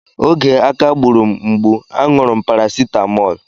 Oge aká gburu m mgbu, a ṅụrụ m parasitamọl.